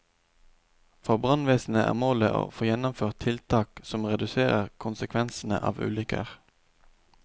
For brannvesenet er målet å få gjennomført tiltak som reduserer konsekvensene av ulykker.